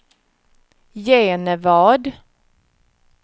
Genevad